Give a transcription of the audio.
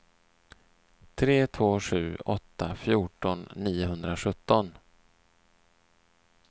tre två sju åtta fjorton niohundrasjutton